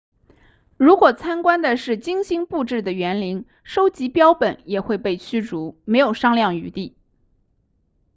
如果参观的是精心布置的园林收集标本也会被驱逐没有商量余地